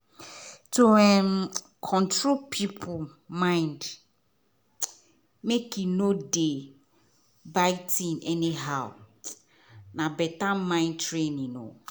to um control person mind make e nor dey buy thing any how na better mind training um